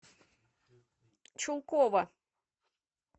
чулкова